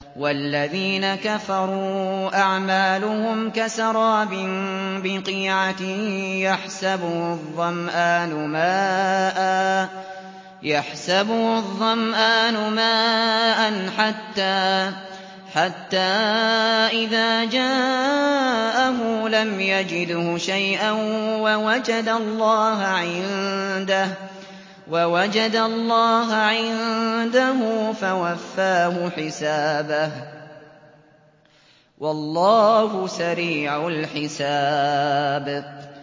وَالَّذِينَ كَفَرُوا أَعْمَالُهُمْ كَسَرَابٍ بِقِيعَةٍ يَحْسَبُهُ الظَّمْآنُ مَاءً حَتَّىٰ إِذَا جَاءَهُ لَمْ يَجِدْهُ شَيْئًا وَوَجَدَ اللَّهَ عِندَهُ فَوَفَّاهُ حِسَابَهُ ۗ وَاللَّهُ سَرِيعُ الْحِسَابِ